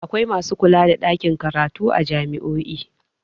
Akwai masu kula da ɗakin karatu a jami'o'i.